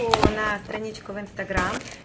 то на страничку в инстаграм